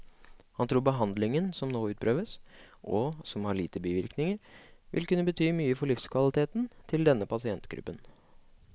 Han tror behandlingen som nå utprøves, og som har lite bivirkninger, vil kunne bety mye for livskvaliteten til denne pasientgruppen.